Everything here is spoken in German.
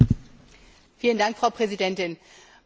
Frau Präsidentin, meine Damen und Herren!